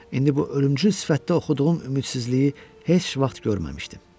İndi bu ölümcül sifətdə oxuduğum ümidsizliyi heç vaxt görməmişdim.